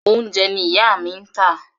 Oúnjẹ ni ìyá mi ń tà.